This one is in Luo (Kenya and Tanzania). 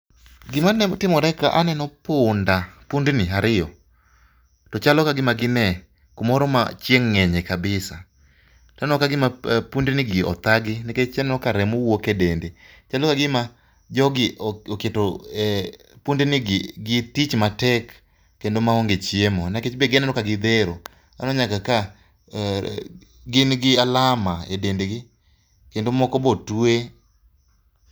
Gima aneno timore ka, aneno punda, pundni ariyo ,to chalo kagima gine kumoro ma chieng ngenye kabisa. To aneno kagima pundni gi othagi nikech aneno ka remo wuok e dende. Chalo kagima jogi oketo pundni gi gitich matek kendo maonge chiemo nikech be aneno ka gidhero, aneno nyaka ka gin gi alama e dendgi kendo moko be otwe.